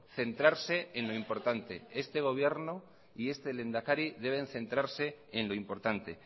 centrarse en lo importante este gobierno y este lehendakari deben centrarse en lo importante